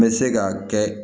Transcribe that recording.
N bɛ se ka kɛ